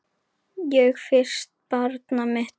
Og fyrsta barnið mitt.